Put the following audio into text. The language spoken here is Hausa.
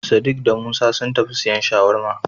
Sadik da Musa sun tafi siyan Shawarma.